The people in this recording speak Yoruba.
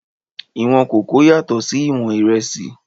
Ìwọ̀n kòkó yàtọ̀ sí ìwọ̀n ìrẹsì